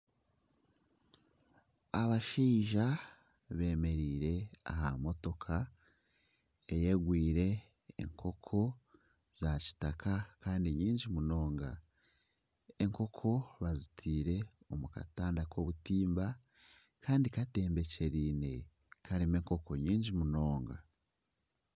Abashaija bemereire aha motoka eyigwire enkoko za kitaka knyingi munonga. Enkoko bazitiire omu katanda k'obutimba kandi katembekyereine karimu enkoko nyingi munonga.